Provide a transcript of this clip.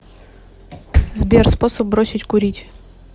сбер способ бросить курить